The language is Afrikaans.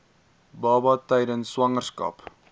baba tydens swangerskap